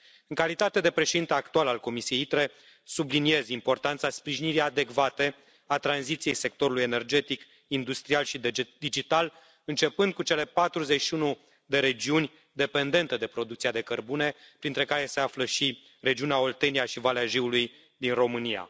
În calitate de președinte actual al comisiei ITRE, subliniez importanța sprijinirii adecvate a tranziției sectorului energetic, industrial și digital, începând cu cele 41 de regiuni dependente de producția de cărbune, printre care se află și regiunea Oltenia și Valea Jiului din România.